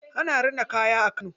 Ana rina kaya a Kano.